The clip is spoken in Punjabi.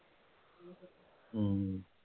ਹੂੰ